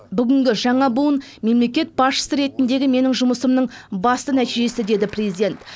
бүгінгі жаңа буын мемлекет басшысы ретіндегі менің жұмысымның басты нәтижесі деді президент